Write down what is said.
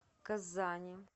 казани